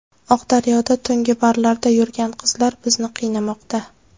Oqdaryoda tungi barlarda yurgan qizlar bizni qiynamoqda.